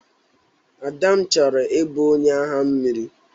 Adam chọrọ ị bụ onye agha mmiri.